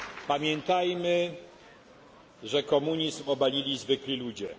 Pamiętajmy, że komunizm obalili zwykli ludzie.